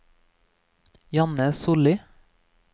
Janne Solli